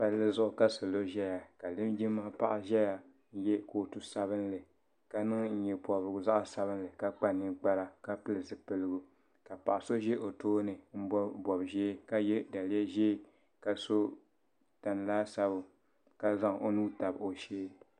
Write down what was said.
palli zuɣu ka salo ʒeya ka linjima paɣa ʒeya ka ye kootu sabinli ka niŋ nye' pɔbirigu zaɣ' sabinli ka kpa ninkpara ka pili zupiligu ka paɣa so ʒi o tooni ka bɔbi bɔb' ʒee ka ye daliya ʒee ka sɔ tani laasabu ka zaŋ o nuu tabi o shee.